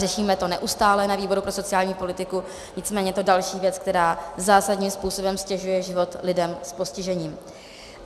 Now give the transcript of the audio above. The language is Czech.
Řešíme to neustále na výboru pro sociální politiku, nicméně je to další věc, která zásadním způsobem ztěžuje život lidem s postižením.